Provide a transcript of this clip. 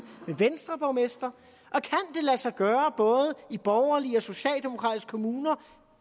en venstreborgmester og sig gøre både i borgerlige og socialdemokratiske kommuner